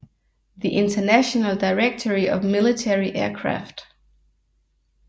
The International Directory of Military Aircraft